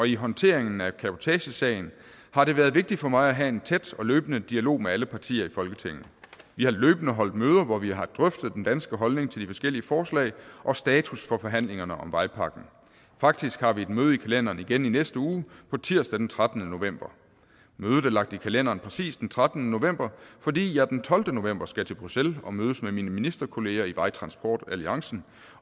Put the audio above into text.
i håndteringen af cabotagesagen har det været vigtigt for mig at have en tæt og løbende dialog med alle partier i folketinget vi har løbende holdt møder hvor vi har drøftet den danske holdning til de forskellige forslag og status for forhandlingerne om vejpakken faktisk har vi et møde i kalenderen igen i næste uge nemlig tirsdag den trettende november mødet er lagt i kalenderen præcis den trettende november fordi jeg den tolvte november skal til bruxelles og mødes med mine ministerkolleger i vejtransportalliancen